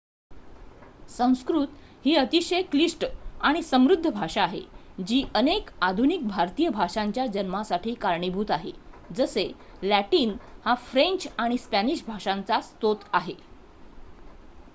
संस्कृत ही अतिशय क्लिष्ट आणि समृद्ध भाषा आहे जी अनेक आधुनिक भारतीय भाषांच्या जन्मासाठी कारणीभूत आहे जसे लॅटिन हा फ्रेंच आणि स्पॅनिश भाषांचा स्रोत आहे